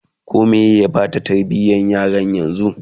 koh Meye Bata tarbiyan yaran yanzun?